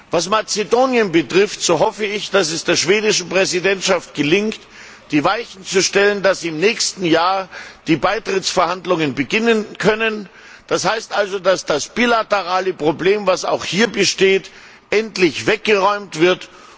Was Mazedonien betrifft, so hoffe ich, dass es der schwedischen Präsidentschaft gelingt, die Weichen zu stellen, dass im nächsten Jahr die Beitrittsverhandlungen beginnen können, so dass das bilaterale Problem, das auch hier besteht, endlich weggeräumt wird.